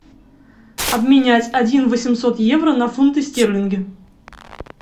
обменять один восемьсот евро на фунты стерлинги